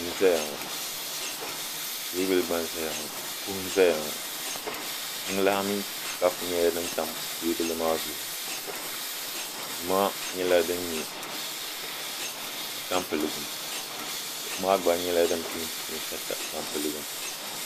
duu n ʒɛya ŋɔ teebuli gba n ʒɛya ŋɔ kuɣu n ʒɛya ŋɔ jiŋlaa mini kapu gba nyɛla din tam teebuli maa zuɣu duu maa nyɛla din nyɛ du tampilim duu maa gba nyɛla din peenti peenta tampilim